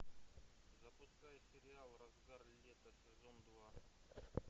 запускай сериал разгар лета сезон два